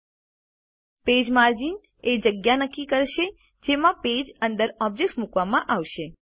000046 000042 page margins એ જગ્યા નક્કી કરશે જેમાં પેજ અંદર ઓબ્જેક્ત્સ મૂકવામાં આવશે